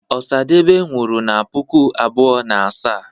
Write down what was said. osi osadebe nwuru na puku abuo na asaa